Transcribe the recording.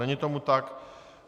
Není tomu tak.